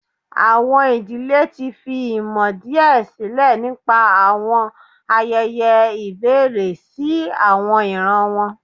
Awọn idile ti fi imọ diẹ silẹ nipa awọn ayẹyẹ ibẹrẹ si awọn iran wọn.